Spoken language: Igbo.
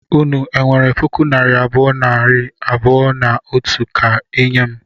Unu enwere puku naira abụọ, nari abụọ na otu ka I nye m?